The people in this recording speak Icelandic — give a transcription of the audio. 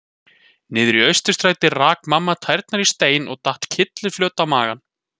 Niðri í Austurstræti rak mamma tærnar í stein og datt kylliflöt á magann.